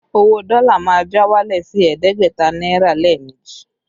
Owó dọ́lá má já wálẹ̀ sí ẹ̀ẹ́dẹ́gbẹ̀ta náírà lé méjì